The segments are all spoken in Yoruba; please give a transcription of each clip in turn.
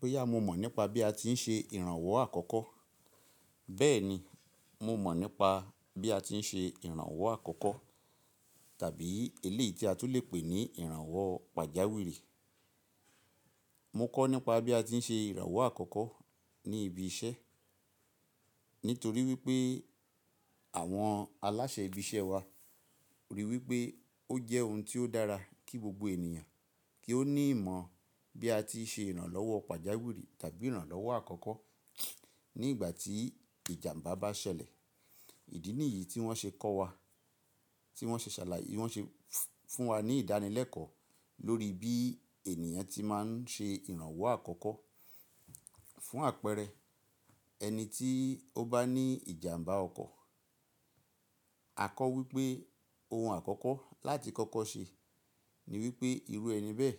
Boyá mo mọ̀ nípa bí a ti ń ṣe ìrànwọ́ àkọ́kọ́. Bẹ́ẹ̀ ni, mo mọ̀ nípa bí a ti ń ṣe ìrànwọ́ àkọ́kọ́ tàbí eléyìí tí a tún lè pè ní ìrànwọ́ pàjáwìrì. Mo kọ́ nípa bí a ti ń ṣe ìrànwọ́ àkọ́kọ́ ní ibi iṣẹ́ nítorí wípé àwọn aláṣẹ ibi iṣẹ́ wa rí wípé ó jẹ́ ohun tí ó dára kí gbogbo ènìyàn kí ó ní ìmọ̀ bí a ti ń ṣe ìrànlọ́wọ́ pàjáwìrì tàbí ìrànlọ́wọ́ àkọ́kọ́ ní ìgbà tí ìjàmbá bá ṣẹlẹ̀. Ìdí nìyí tí wọ́n ṣe kọ́ wa, tí wọ́n ṣe ṣàlàyé fún wa ní ìdánilẹ́kọ̀ọ́ lórí bí ènìyàn tí máa ń ṣe ìrànwọ́ àkọ́kọ́ fún àpẹẹrẹ ẹni tí ó bá ní ìjàmbá ọkọ̀. A kọ́ wípé ohun àkọ́kọ́ láti kọ́kọ́ ṣe ní wípé irú ẹni bẹ́ẹ̀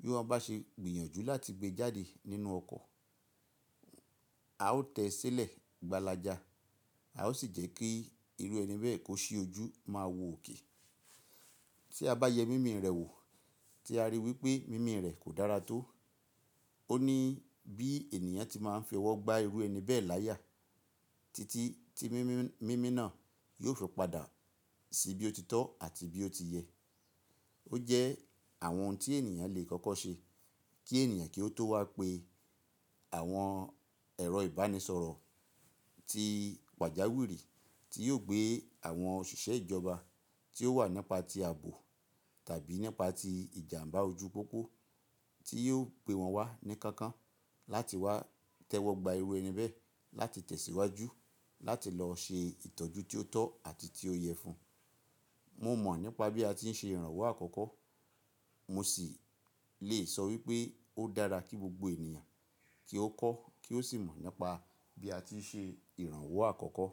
bí wọ́n bá ṣe gbìyànjú láti gbé jáde nínú ọkọ̀, a ó tẹ́ sílẹ̀ gbàlàjà, a ó sì jẹ́ kí irú ẹni bẹ́ẹ̀ kó sí ojú máa wò òkè. Tí a bá yẹ mími rẹ̀ wò tí a rí wípé mími rẹ̀ kò dára tó, ó ní bí ènìyàn tí máa ń fi ọwọ́ gba irú ẹni bẹ́ẹ̀ láyà títí tí mímì náà yóò fi padà sí bí ó ti tọ́ àti bí ó ti yẹ. Ó jẹ́ àwọn ohun tí ènìyàn lè kọ́kọ́ ṣe kí ènìyàn kí ó tó wá pe àwọn ẹ̀rọ ìbánisọ̀rọ̀ tí pàjáwìrì tí yóò gbé àwọn òṣìṣẹ́ ìjọba tí ó wà nípa tí ààbò tàbí nípa tí ìjàmbá ojú pópó tí yóò gbé wọn wá ní kankan láti wá tẹ́wọ́ gba irú ẹni bẹ́ẹ̀ láti tẹ̀síwájú láti lọ ṣe ìtọ́jú tí ó tọ́ àti tí ó yẹ fún. Mo mọ̀ nípa bí a ti ń ṣe ìrànwọ́ àkọ́kọ́, mo sì lè sọ wípé ó dára kí gbogbo ènìyàn kí ó kọ́ kí ó sì mọ̀ nípa bí a ti ń ṣe ìrànwọ́ àkọ́kọ́